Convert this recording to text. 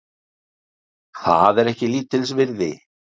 Það er ekki lítils virði